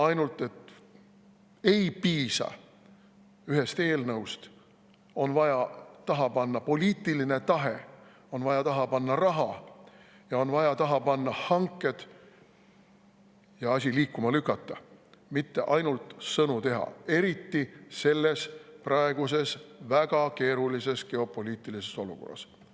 Ainult et ei piisa ühest eelnõust, on vaja taha panna poliitiline tahe, on vaja taha panna raha ja on vaja taha panna hanked ning asi liikuma lükata, mitte ainult sõnu teha, eriti praeguses väga keerulises geopoliitilises olukorras.